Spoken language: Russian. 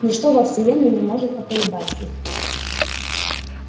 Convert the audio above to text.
ничто во вселенной не может поколебать их